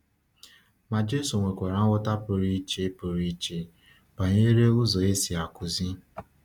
Ma Jésù nwekwara nghọta pụrụ iche pụrụ iche banyere ụzọ e si akụzi.